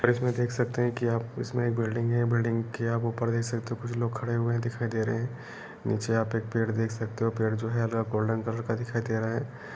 और इसमें देख सकते है कि आप इसमें एक बिल्डिंग है । बिल्डिंग के आप ऊपर देख सकते होकुछ लोग खड़े हुए दिखाई दे रहे हैं नीचे आप एक पेड़ देख सकते हो। पेड़ जो है गोल्डन कलर का दिखाई दे रहा है।